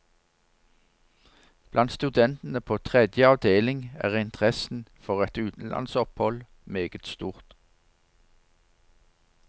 Blant studentene på tredje avdeling er interessen for et utenlandsopphold meget stor.